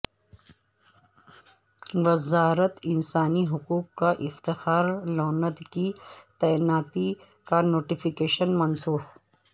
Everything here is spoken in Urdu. وزارت انسانی حقوق کا افتخار لوند کی تعیناتی کا نوٹیفیکشن منسوخ